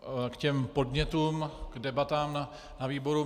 K těm podnětům, k debatám na výboru.